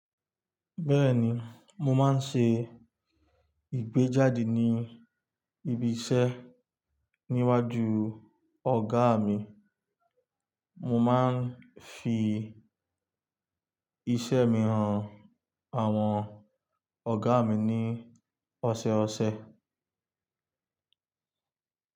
Bẹ́ẹ̀ni, mo máa ń ṣe ìgbéjáde ní ibi iṣẹ́ níwájú ọ̀gá mi, mo máa ń fi iṣẹ́ mi han àwọn ọ̀gá mi ní ọ̀sọ̀ọ̀sẹ̀.